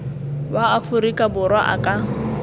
wa aforika borwa a ka